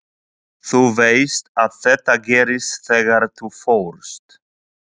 Þú veist að þetta gerðist þegar þú fórst.